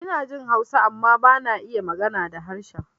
Inajin Hausa amma bana iya magana da harshen